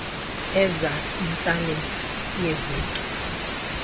enza intsalela yeeveki